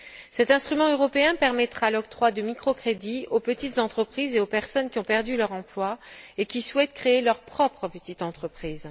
Cet instrument européen permettra l'octroi de microcrédits aux petites entreprises et aux personnes qui ont perdu leur emploi et qui souhaitent créer leur propre petite entreprise.